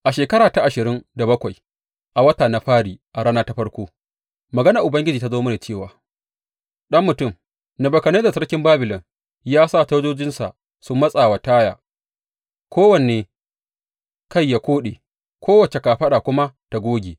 A shekara ta ashirin da bakwai, a wata na fari a rana ta farko, maganar Ubangiji ta zo mini cewa, Ɗan mutum, Nebukadnezzar sarkin Babilon ya sa sojojinsa su matsa wa Taya; kowane kai ya koɗe, kowace kafaɗa kuma ta goge.